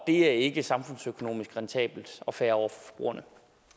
det er ikke samfundsøkonomisk rentabelt og fair over for forbrugerne